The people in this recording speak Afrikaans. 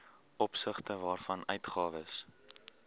opsigte waarvan uitgawes